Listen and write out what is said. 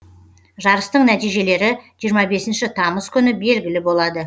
жарыстың нәтижелері жиырма бесінші тамыз күні белгілі болады